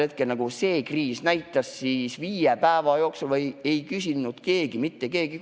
Ja nagu see kriis näitas, ei küsinud viie päeva jooksul neid andmeid mitte keegi mitte kordagi.